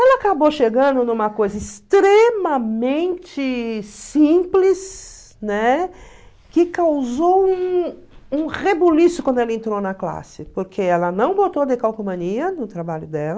Ela acabou chegando numa coisa extremamente simples, né, que causou um um rebuliço quando ela entrou na classe, porque ela não botou no trabalho dela.